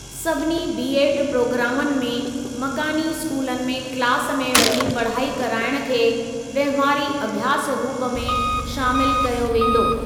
सभिनी बीएड प्रोग्रामनि में मकानी स्कूलनि में क्लास में वञी पढ़ाई कराइण खे वहिंवारी अभ्यास रूप में शामिल कयो वेंदो।